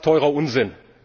Das ist teurer Unsinn.